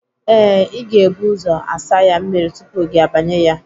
Ee, ị ga-ebu ụzọ asa ya mmiri tupu gị abanye ya.